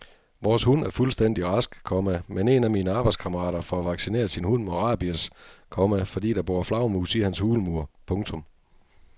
Vores hund er fuldstændig rask, komma men en af mine arbejdskammerater får vaccineret sin hund mod rabies, komma fordi der bor flagermus i hans hulmur. punktum